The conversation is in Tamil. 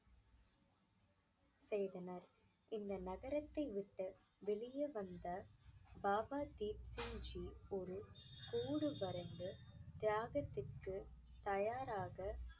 செய்தனர் இந்த நகரத்தை விட்டு வெளியே வந்த பாபா தீப் சிங்ஜி ஒரு கோடு வரைந்து தியாகத்திற்கு தயாராக